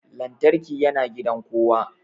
Lantarki yana gidan kowa